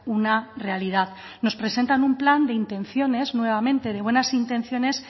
una realidad nos presentan un plan te intenciones nuevamente de buenas intenciones